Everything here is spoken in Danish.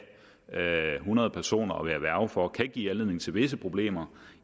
have hundrede personer at være værge for kan give anledning til visse problemer